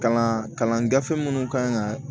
Kalan kalan gafe minnu kan ka